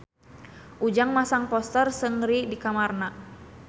Ujang masang poster Seungri di kamarna